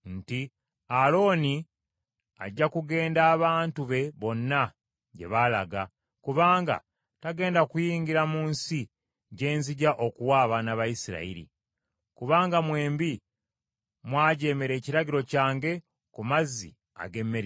“Alooni ajja kugenda abantu be bonna gye baalaga, kubanga tagenda kuyingira mu nsi gye nzija okuwa abaana ba Isirayiri. Kubanga mwembi mwajeemera ekiragiro kyange ku mazzi ag’e Meriba.